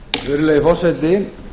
virðulegi forseti